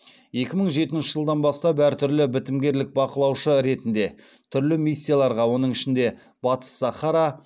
екі мың жетінші жылдан бастап әртүрлі бітімгерлік бақылаушы ретінде түрлі миссияларға оның ішінде батыс сахара